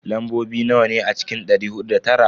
Lambobi nawa ne a cikin dari hudu da tara?